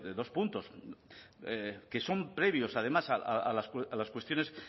de dos puntos que son previos además a las cuestiones